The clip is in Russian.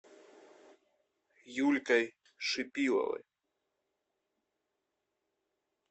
юлькой шипиловой